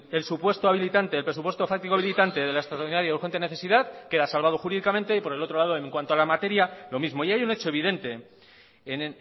el supuesto habilitante el presupuesto fáctico habilitante de la extraordinaria y urgente necesidad queda salvado jurídicamente y por el otro lado en cuanto a la materia lo mismo y hay un hecho evidente en